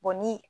ni